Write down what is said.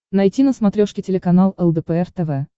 найти на смотрешке телеканал лдпр тв